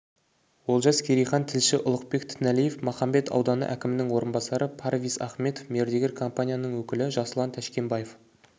олжас керейхан тілші ұлықбек тінәлиев махамбет ауданы әкімінің орынбасары парвиз ахмедов мердігер компанияның өкілі жасұлан тәшкенбаев